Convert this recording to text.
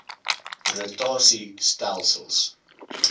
rota sie stelsels